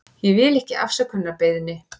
Ég vil ekki afsökunarbeiðni.